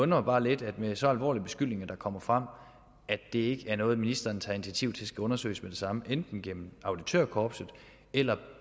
mig bare lidt med så alvorlige beskyldninger der kommer frem at det ikke er noget ministeren tager initiativ til skal undersøges med det samme enten gennem auditørkorpset eller